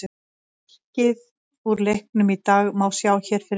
Markið úr leiknum í dag má sjá hér að neðan